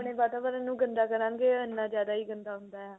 ਆਪਣੇ ਵਾਤਾਵਰਨ ਨੂੰ ਗੰਦਾ ਕਰਾਂਗੇ ਉੰਨਾ ਜਿਆਦਾ ਹੀ ਗੰਦਾ ਹੁੰਦਾ ਆ